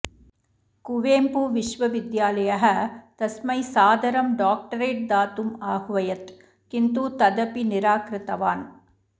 कुवेम्पुविश्वविद्यालयः तस्मै सादरं डाक्टरेट् दातुम् आह्वयत् किन्तु तदपि निराकृतवान्